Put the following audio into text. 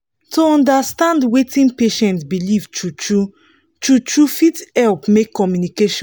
to understand wetin patient believe true-true true-true fit help make communication